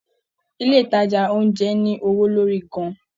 Ilé ìtajà oúnjẹ ní owó lórí gan-an